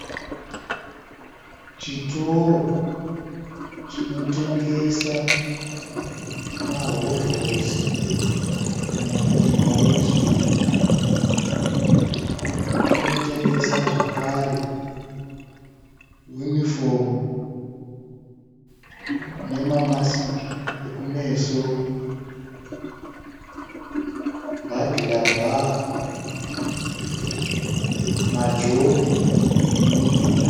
Chitoro chinotengesa mahovhorosi , kana kuti maWorksuit, chinotengesa zvakare uniform nema masiki eku meso, burglar bar, majombo emuminda.